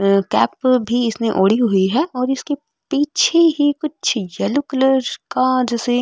कैप भी इसने ओढी हुई है और इसके पीछे ही कुछ यल्लो कलर का जैसे --